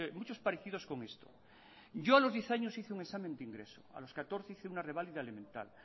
muchos parecidos con esto yo a los diez años hice un examen de ingreso a los catorce hice una revalida elemental